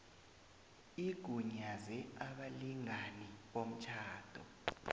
igunyaze abalingani bomtjhado